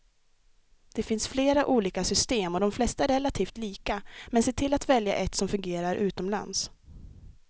Det finns flera olika system och de flesta är relativt lika, men se till att välja ett som fungerar utomlands.